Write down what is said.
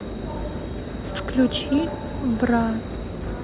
включи бра